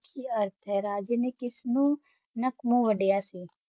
ਰਾਜੇ ਨੇ ਕਿਸ ਨੂ ਨਾਕ ਮੂਹ ਵਾਡੀਆ ਸੀ